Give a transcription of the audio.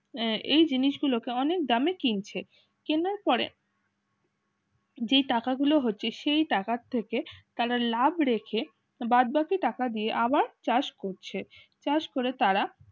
এই জিনিসগুলোকে অনেক দামে কিনছে কিনার পরে যে টাকাগুলো হচ্ছে সেই টাকা থেকে তারা লাভ রেখে বাদবাকি টাকা দিয়ে আবার চাষ করছে চাষ করে তারা